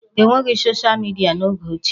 E nweghị soshịa midịa n'oge ochie